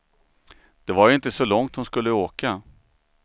Det var ju inte så långt hon skulle åka.